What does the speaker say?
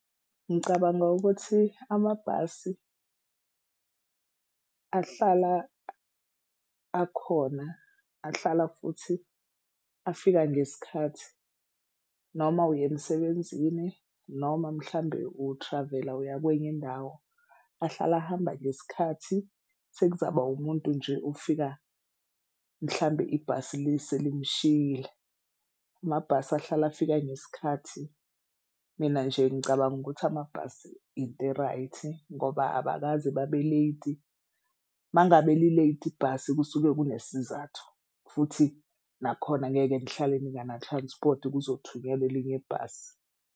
Ngicabanga ukuthi amabhasi ahlala akhona ahlala futhi afika ngesikhathi noma uya emsebenzini noma mhlawumbe u-travel-a uya kwenye indawo. Ahlala ahamba ngesikhathi sekuzaba umuntu nje ofika mhlambe ibhasi selimshiyile. Amabhasi ahlale afika ngesikhathi mina nje ngicabanga ukuthi amabhasi into e-right ngoba abakaze babe-late. Uma ngabe li-late ibhasi kusuke kunesizathu futhi nakhona angeke nihlale ningana-transport kuzothunyelwa elinye ibhasi.